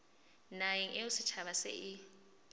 naheng eo setjhaba se e